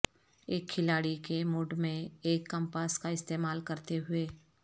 ایک کھلاڑی کے موڈ میں ایک کمپاس کا استعمال کرتے ہوئے